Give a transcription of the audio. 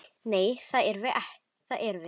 Nei, það erum við.